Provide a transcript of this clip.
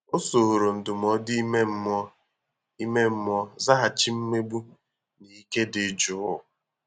O soro ndụmọdụ ime mmụọ ime mmụọ zaghachi mmegbu n’ike dị jụụ